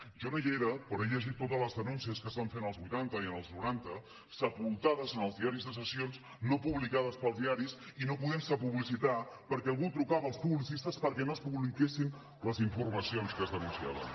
jo no hi era però he llegit totes les denúncies que es van fer en els vuitanta i en els noranta sepultades en els diaris de sessions no publicades pels diaris i que no es podien publicitar perquè algú trucava als publicistes perquè no es publiquessin les informacions que es denunciaven